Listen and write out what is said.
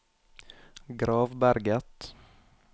Gravberget